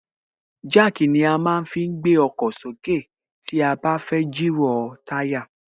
Jack ni a má ń fi gbé ọkọ̀ sókè tí a bá fẹ́ jìrọ̀ táyà